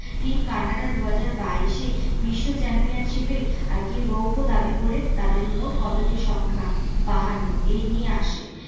team Canada দুহাজার বাইশ এ বিশ্ব চ্যাম্পিয়নশিপে আর কি রৈপো দাবি করে তাদের মোট পদেরকের সংখ্যা বাহান্ন এই নিয়ে আসে।